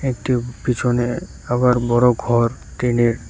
একটি পিছনে আবার বড়ো ঘর টিনের।